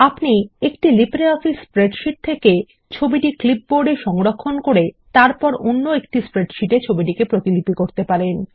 আপনি একটি LibreOffice spreadsheet থেকে ছবিটিকে ক্লিপবোর্ড এ সংরক্ষিত করে অন্য একটি স্প্রেডশীট এ ছবিটিকে প্রতিলিপি করতে পারেন